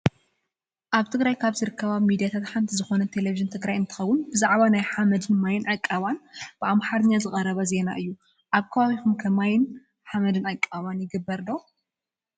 ኣብ ትግራይ ካብ ዘርከባ ሚዳታት ሓንቲ ዝኮነት ቴሌቪዥን ትግራይ እንትከውን ብዛዕባ ናይ ሓመድን ማይን ዕቀባ ብኣማሓርኛ ዝቀረበ ዜና እዩ። ኣብ ከባቢኩም ከ ማይን ሓመድን ዕቀባ ይግበር ዶ?